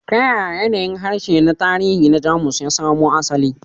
Ta yaya yanayin harshe na tarihi na Jamus ya samo asali?